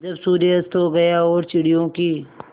जब सूर्य अस्त हो गया और चिड़ियों की